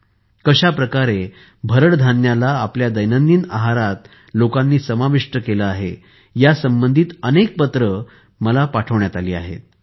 लोकांनी कशाप्रकारे भरड धान्याला आपल्या दैनंदिन आहारात समाविष्ट केले आहे या संबंधित अनेक पत्र लोकांनी मला पाठवली आहेत